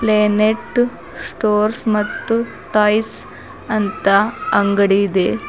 ಬೇನೆಟು stores ಮತ್ತು toys ಅಂತ ಅಂಗಡಿ ಇದೆ.